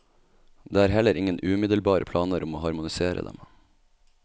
Det er heller ingen umiddelbare planer om å harmonisere dem.